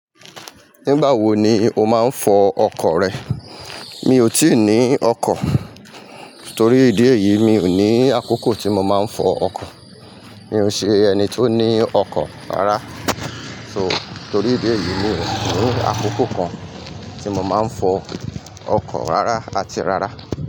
Nígbà wo ni o máa ń fọ ọkọ̀ rẹ? Mi ò tíì ní ọkọ̀. Torí ìdí èyí, mi ò ní àkókò tí mo máa ń fọ ọkọ̀. Mi ò n ṣe ẹni tó ní ọkọ̀ rárá. So, torí ìdí èyí, mi ò ní àkókò kan tí mo máa ń fọ ọkọ̀ rárá àti rárá.